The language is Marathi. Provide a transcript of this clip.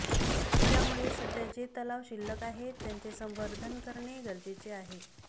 त्यामुळे सध्या जे तलाव शिल्लक आहेत त्यांचे सवंर्धन करणे गरजेचे आहे